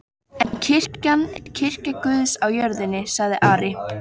En kirkjan er kirkja Guðs á jörðinni, sagði Ari.